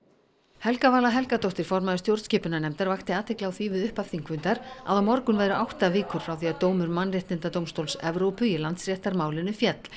Helga Vala Helgadóttir formaður stjórnskipunarnefndar vakti athygli á því við upphaf þingfundar að á morgun væru átta vikur frá því að dómur mannréttindadómstóls Evrópu í landsréttarmálinu féll